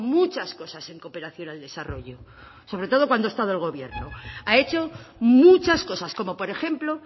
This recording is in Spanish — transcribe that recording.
muchas cosas en cooperación al desarrollo sobre todo cuando ha estado en el gobierno ha hecho muchas cosas como por ejemplo